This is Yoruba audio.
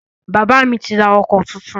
Bàbá mi ti rà ọkọ̀ tuntun